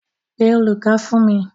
Pé olùkọ́ fún mi.